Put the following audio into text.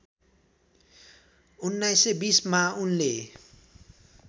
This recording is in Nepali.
१९२० मा उनले